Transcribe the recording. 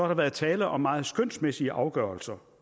der været tale om meget skønsmæssige afgørelser